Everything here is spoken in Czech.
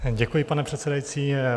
Děkuji, pane předsedající.